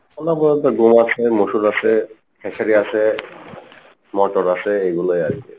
আমার আছে মুসুর আছে খেসারি আছে মটর আছে এগুলোই আরকি।